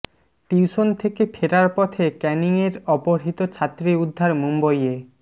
tuition থেকে ফেরার পথে ক্যানিংয়ের অপহৃত ছাত্রী উদ্ধার মুম্বইয়ে